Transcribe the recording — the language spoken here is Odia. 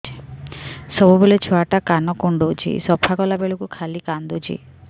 ସବୁବେଳେ ଛୁଆ ଟା କାନ କୁଣ୍ଡଉଚି ସଫା କଲା ବେଳକୁ ଖାଲି କାନ୍ଦୁଚି